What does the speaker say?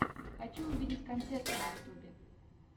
хочу увидеть концерты на ютюбе